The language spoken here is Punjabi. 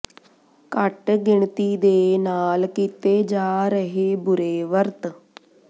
ਘੱਟ ਗਿਣਤੀ ਦੇ ਨਾਲ ਕੀਤੇ ਜਾ ਰਹੇ ਬੁਰੇ ਵਰਤ